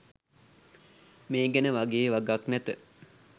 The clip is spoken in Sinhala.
මේ ගැන වගේ වගක් නැත